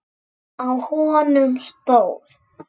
Á honum stóð